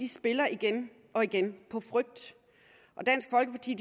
spiller igen og igen på frygt og dansk folkeparti